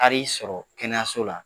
Taar'i sɔrɔ kɛnɛyaso la